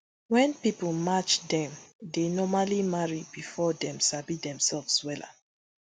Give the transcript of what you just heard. wen pipo match dem dey normally marry bifor dem sabi demselves wella